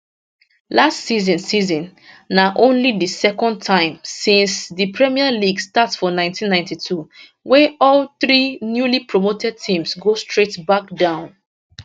last season season na only di second time since di premier league start for 1992 wey all three newlypromoted teams go straight back down